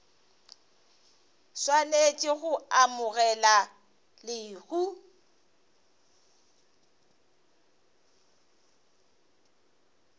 swanetše go amogela le go